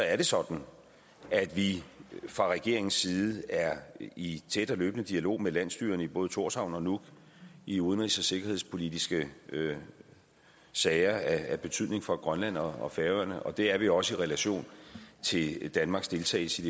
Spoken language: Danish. er det sådan at vi fra regeringens side er i tæt og løbende dialog med landsstyrerne i både thorshavn og nuuk i udenrigs og sikkerhedspolitiske sager af betydning for grønland og færøerne det er vi også i relation til danmarks deltagelse